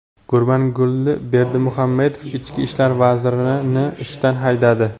Gurbanguli Berdimuhammedov Ichki ishlar vazirini ishdan haydadi.